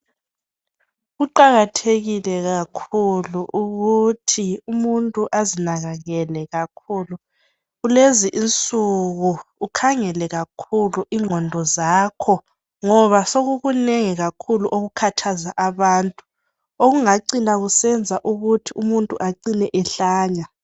Kuqakathekile kakhulu ukuthi umuntu azinakakele kakhulu, kulezinsuku ukhangele kakhulu ingqondo zakho ngoba sokukunengi kakhulu okukhathaza abantu okungacina kusenza ukuthi umuntu acine ehlanya